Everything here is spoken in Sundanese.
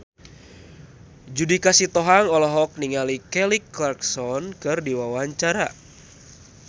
Judika Sitohang olohok ningali Kelly Clarkson keur diwawancara